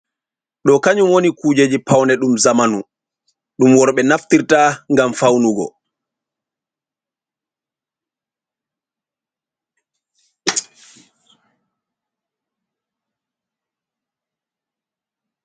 Ɗo kanyum woni kujeji pawne ɗum zamanu, ɗum worɓe naftirta, ngam fawnugo.